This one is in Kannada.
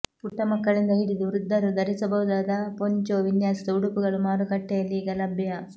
ಪುಟ್ಟಮಕ್ಕಳಿಂದ ಹಿಡಿದು ವೃದ್ಧರೂ ಧರಿಸಬಹುದಾದ ಪೊನ್ಚೊ ವಿನ್ಯಾಸದ ಉಡುಪುಗಳು ಮಾರುಕಟ್ಟೆಯಲ್ಲೀಗ ಲಭ್ಯ